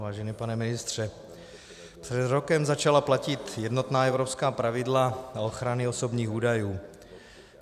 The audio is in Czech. Vážený pane ministře, před rokem začala platit jednotná evropská pravidla o ochraně osobních údajů.